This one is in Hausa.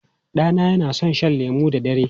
Ɗana yana son shan lemu da dare.